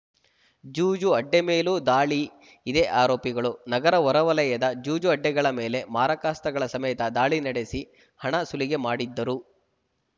ಜೂಜು ಅಡ್ಡೆ ಮೇಲೂ ದಾಳಿ ಇದೇ ಆರೋಪಿಗಳು ನಗರ ಹೊರವಲಯದ ಜೂಜು ಅಡ್ಡೆಗಳ ಮೇಲೆ ಮಾರಕಾಸ್ತ್ರಗಳ ಸಮೇತ ದಾಳಿ ನಡೆಸಿ ಹಣ ಸುಲಿಗೆ ಮಾಡಿದ್ದರು